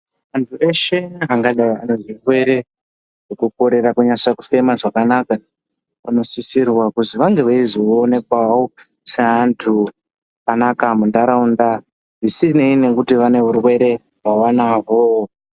Antu eshe angave ane zvirwere zvekukorera kunatsa kufema zvakanaka vanosisirwa kuzi vange weizoonekwavo seantu akanaka munharaunda zvisinei nekuti vane urwere hwavanahwo.